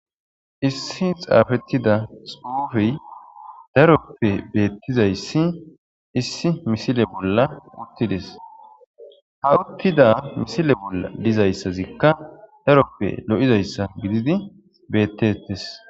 Issi xafetida xufey daroppe betizays issi misile bolla utides, ha uttida misile bolla dizazaysazika daroppe lo'izaysa gidid betetes.